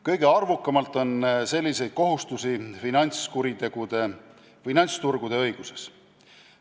Kõige arvukamalt on selliseid kohustusi finantsturgude õiguses.